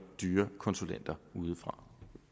dyre konsulenter udefra